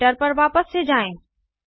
editor पर वापस से जाएँ